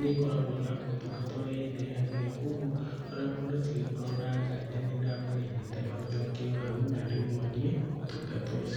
nĩkoragwo na ũtungata ũrĩa ĩndehagĩra kwogwo ona mũndũ ũcio angĩkoragwo na nganja nĩ ndamũrĩhĩte no njoke hau na ndĩmwonie ũtungata ũcio.